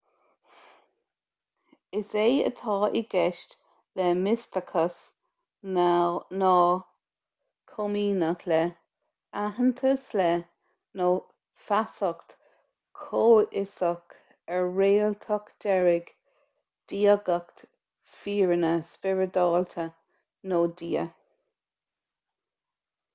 is é atá i gceist le misteachas ná comaoineach le aitheantas le nó feasacht chomhfhiosach ar réaltacht deiridh diagacht fírinne spioradálta nó dia